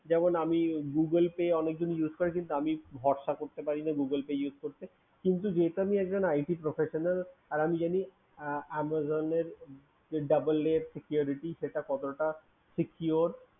যেমন আমি Google Pay অনেকজন use করে কিন্তু আমি ভরসা করতে পারি না Google pay use করতে আমি যেহেতু একজন IT professional আর আমি জানি Amazon এর double way security সেটা কতটা secure